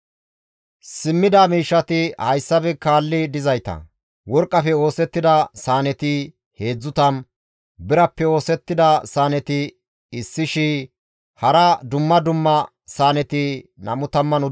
Simmida miishshati hayssafe kaalli dizayta; Worqqafe oosettida saaneti 30, Birappe oosettida saaneti 1,000 hara dumma dumma saaneti 29;